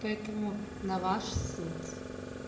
поэтому на ваш суд